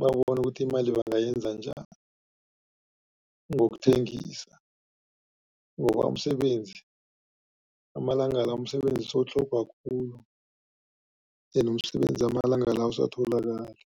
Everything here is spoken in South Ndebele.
babone ukuthi imali bangayenza njani ngokuthengisa. Ngoba umsebenzi amalanga la umsebenzi sewutlhogwa khulu, umsebenzi amalanga la awusatholakali.